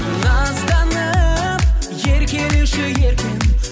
назданып еркелеші еркем